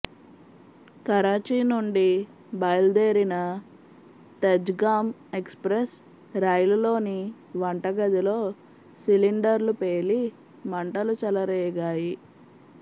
కరాచీ నుండి బయల్దేరిన తేజ్గామ్ ఎక్స్ప్రెస్ రైలులోని వంటగదిలో సిలిండర్లు పేలి మంటలు చెలరేగాయి